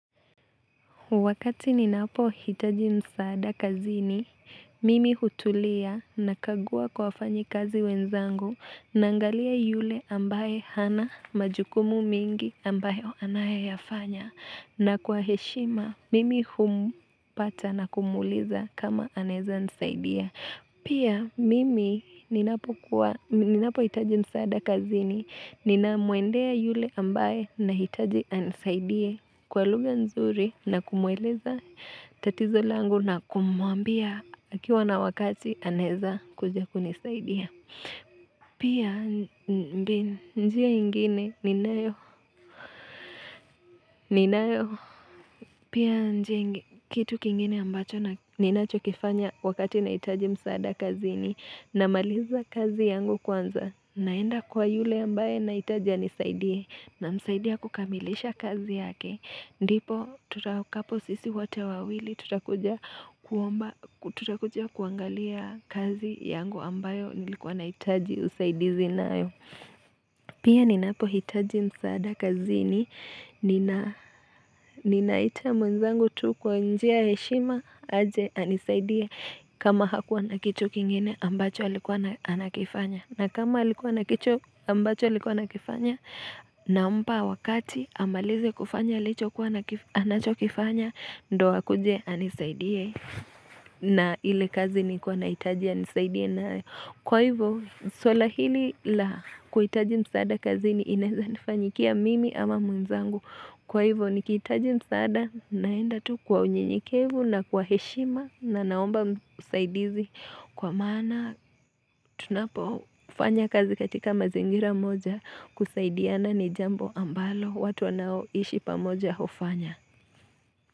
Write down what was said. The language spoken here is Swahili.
Wakati ninapo hitaji msaada kazini, mimi hutulia na kagua kwa fanyi kazi wenzangu na angalia yule ambaye hana majukumu mingi ambayo anaye yafanya na kwa heshima, mimi humpata na kumuliza kama aneza nisaidia. Pia mimi ninapo hitaji msaada kazini, ninamwendea yule ambaye na hitaji anisaidie kwa lugha nzuri na kumuweleza tatizo langu na kumuambia akiwa na wakati aneza kuja kunisaidia. Pia njia ingine ninayo Pia njia kitu kingine ambacho ninacho kifanya wakati naitaji msaada kazi ni na maliza kazi yangu kwanza naenda kwa yule ambaye naitaja nisaidie na msaidia kukamilisha kazi yake Ndipo tutakapo sisi wote wawili tutakuja kuangalia kazi yangu ambayo nilikuwa naitaji usaidizi na ayo Pia ninapo hitaji msaada kazi ni na ninaita mwenzangu tu kwa njia heshima aje anisaidie kama hakuwa nakichu kingine ambacho alikuwa nakifanya na kama alikuwa nakichu ambacho alikuwa nakifanya na mpa wakati amalize kufanya licho kuwa anacho kifanya ndo wakuje anisaidie na ile kazi ni kuwa naitaji anisaidie nayo. Kwa hivyo, suala hili la kuitaji msaada kazi ni inezanifanyikia mimi ama mwenzangu. Kwa hivyo, nikitaji msada naenda tu kwa unyinyikevu na kwa heshima na naomba usaidizi kwa maana tunapo ufanya kazi katika mazingira moja kusaidiana ni jambo ambalo watu ambalo watu wanaoishi pamoja ufanya.